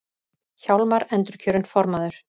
Hjálmar endurkjörinn formaður